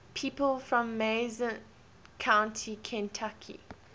people from mason county kentucky